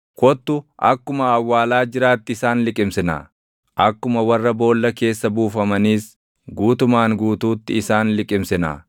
kottu akkuma awwaalaa jiraatti isaan liqimsinaa; akkuma warra boolla keessa buufamaniis guutumaan guutuutti isaan liqimsinaa;